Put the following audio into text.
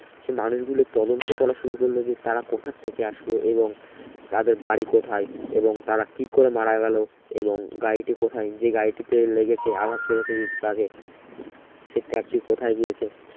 সে মানুষ গুলো তদন্ত করা শুরু করলো যে তারা কোথা থেকে আসলো এবং তাদের বাড়ি কোথায় এবং তারা কি করে মারা গেলো এবং গাড়িটি কোথায় যে গাড়িটিতে লেগেছে আঘাত লেগেছে যে truck এ সে truck টি কোথায় গিয়েছে